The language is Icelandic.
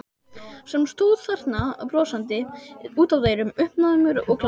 Sem stóð þarna brosandi út að eyrum, uppnæmur og glaður.